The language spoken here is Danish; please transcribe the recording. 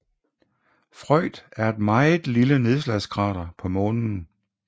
Freud er et meget lille nedslagskrater på Månen